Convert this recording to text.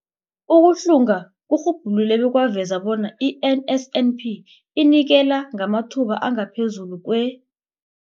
Ukuhlunga kurhubhulule bekwaveza bona i-NSNP inikela ngamathuba angaphezulu kwe-